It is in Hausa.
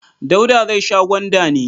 Dauda zai sha gwanda ne?